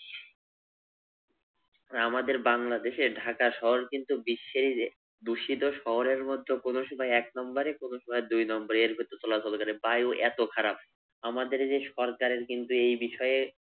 আমাদের বাংলাদেশে ঢাকা শহর কিন্তু বিশ্বে এই যে দুষিত শহরের মধ্যে কোন সময় এক নম্বরে কোন সময় দুই নম্বরে এর ভিতর চলাচল করে। বায়ু এত খারাপ। আমাদের এইযে সরকারের কিন্তু এই বিষয়ে